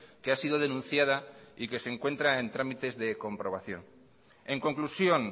que ha sido denunciada y que se encuentra en tramites de comprobación en conclusión